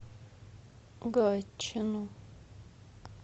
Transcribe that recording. гатчину